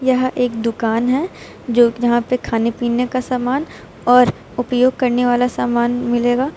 यह एक दुकान है जो यहां पे खाने पीने का सामान और उपयोग करने वाला सामान मिलेगा।